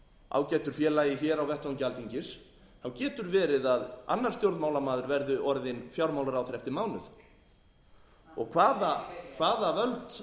ágætu félagi hér á vettvangi alþingis getur verið að annar stjórnmálamaður verði orðinn fjármálaráðherra eftir mánuð og hvaða völd er verið að